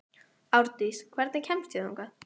Árdís, hvernig kemst ég þangað?